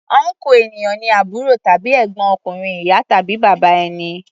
Ọnkú ènìyàn ni àbúrò tàbí ègbọ́n ọkùnrin ìyá tàbí bàbá ẹni.